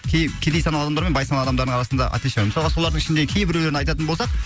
кей кедей саналы адамдар мен бай саналы адамдардың арасында отличие мысалға солардың ішінде кейбіреулерін айтатын болсақ